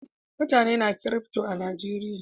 Mutane na kirifto a Najeriya